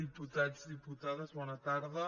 diputats diputades bona tarda